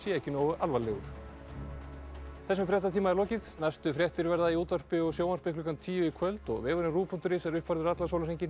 ekki nógu alvarlegur þessum fréttatíma er lokið næstu fréttir verða í útvarpi og sjónvarpi klukkan tíu í kvöld og vefurinn ruv punktur is er uppfærður allan sólarhringinn